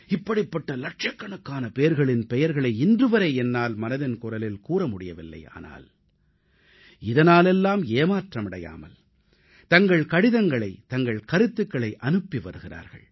இப்படிப்பட்ட லட்சக்கணக்கானோரின் பெயர்களை இன்றுவரை என்னால் மனதின் குரலில் கூற முடியவில்லை ஆனால் இதனாலெல்லாம் ஏமாற்றமடையாமல் தங்கள் கடிதங்களை தங்கள் கருத்துகளை அனுப்பி வருகிறார்கள்